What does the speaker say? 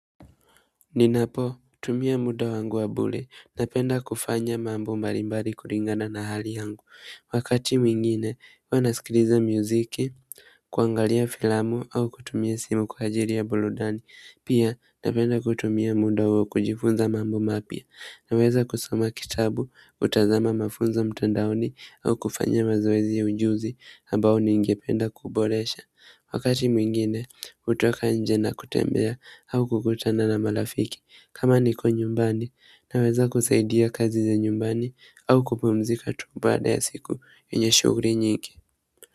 Ninapo tumia muda wangu wabule na penda kufanya mambo mbalimbali kuringada na hali yangu wakati mwingine huwa naskiliza muziki, kuangalia filamu au kutumia simu kwa ajiri ya buludani pia napenda kutumia muda huo kujifunza mambo mapya na weza kusoma kitabu kutazama mafunzo mtandaoni au kufanya mazoezi ya ujuzi ambao ningependa kuboresha wakati mwingine hutoka nje na kutembea au kukutana na malafiki kama niko nyumbani naweza kusaidia kazi za nyumbani au kupumzika tu baada ya siku yenye shuguri nyingi.